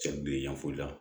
Cɛ bi yanfoyila